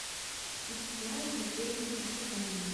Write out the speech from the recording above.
вячеслава григорьевича хасанова